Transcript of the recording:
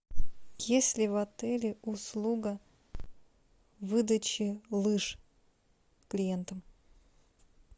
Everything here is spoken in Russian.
есть ли в отеле услуга выдачи лыж клиентам